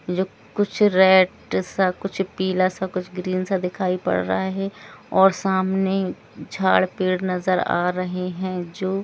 जो कुछ रेड सा कुछ पीला सा कुछ ग्रीन सा दिखाई पड़ रहा है और सामने झाड़ पेड़ नज़र आ रहे हैं जो--